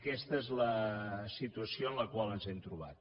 aquesta és la situació en la qual ens hem trobat